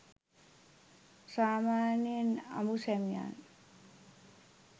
සාමාන්‍යයෙන් අඹු සැමියන්